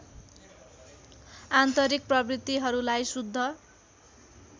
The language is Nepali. आन्तरिक प्रवृत्तिहरूलाई शुद्ध